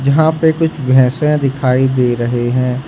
यहां पर कुछ भैंसे दिखाई दे रही है।